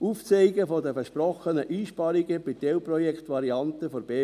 Aufzeigen der versprochenen Einsparungen bei den Teilprojektvarianten der BVE;